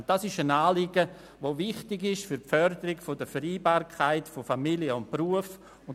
Dieses Anliegen ist für die Förderung der Vereinbarkeit von Familie und Beruf wichtig.